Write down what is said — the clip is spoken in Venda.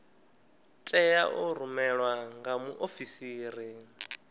tea u rumelwa nga muofisiri